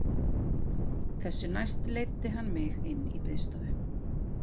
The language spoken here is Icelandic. Þessu næst leiddi hann mig inn í borðstofu.